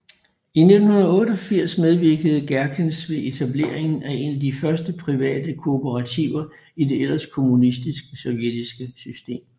I 1988 medvirkede Gerkens ved etableringen af én af de første private kooperativer i det ellers kommunistiske sovjetiske system